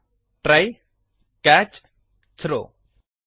try try catch catch ಮತ್ತು throw throw